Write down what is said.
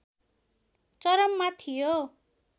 चरममा थियो